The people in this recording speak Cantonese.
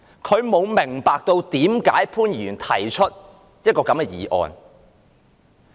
他不明白為甚麼潘議員提出這項議案。